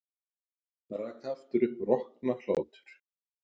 Hann rak aftur upp roknahlátur.